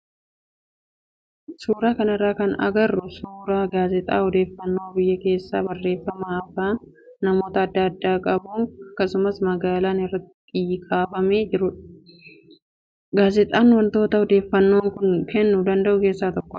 Suuraa kanarraa kan agarru suuraa gaazexaa odeeffannoo biyya keessaa barreeffama afaan amaariffaan qophaaye dabalatee namoota adda addaa qabu akkasumas magaalaan irratti kaafamee jirudha. Gaazexaan wantoota odeeffannoo nuuf kennuu danda'an keessaa tokkodha.